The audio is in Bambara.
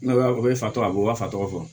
N'a o ye fatɔ a b'o fa tɔgɔ fɔ